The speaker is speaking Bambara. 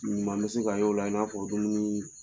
Ɲuman bɛ se ka y'o la i n'a fɔ dumuni